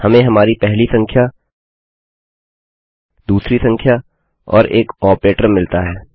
हमें हमारी पहली संख्या दूसरी संख्या और एक ऑपरेटर मिलता है